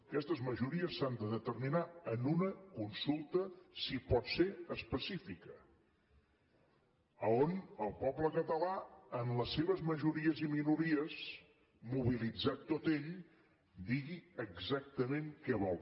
aquestes majories s’han de determinar en una consulta si pot ser específica on el poble català en les seves majories i minories mobilitzat tot ell digui exactament què vol